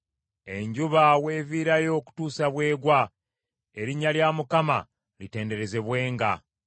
Enjuba weeviirayo okutuusa bw’egwa, erinnya lya Mukama litenderezebwenga.